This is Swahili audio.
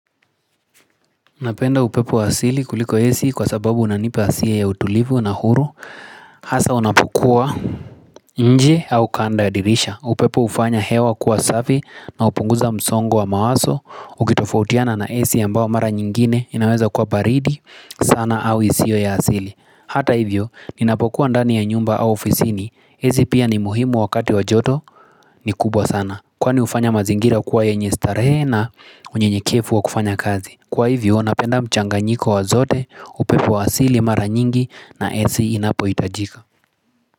Napenda upepo asili kuliko AC kwa sababu unanipa hisia ya utulivu na huru Hasa unapokua nje au kando ya dirisha upepo hufanya hewa kuwa safi na hupunguza msongo wa mawazo Ukitofautiana na AC ambayo mara nyingine inaweza kuwa baridi sana au isio ya asili. Hata hivyo, ninapokuwa ndani ya nyumba au ofisini, AC pia ni muhimu wakati wa joto ni kubwa sana Kwani hufanya mazingira kuwa yenye starehe na unyenyekevu wa kufanya kazi. Kwa hivyo napenda mchanganyiko wa zote upepo wa asili mara nyingi na AC inapohitajika.